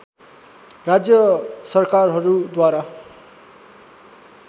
राज्य सरकारहरूद्वारा